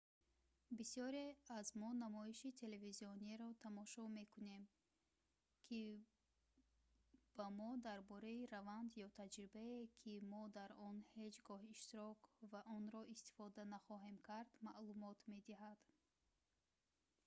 бисёре аз мо намоиши телевизиониеро тамошо мекунем ки ба мо дар бораи раванд ё таҷрибае ки мо дар он ҳеҷ гоҳ иштирок ва онро истифода нахоҳем кард маълумот медиҳад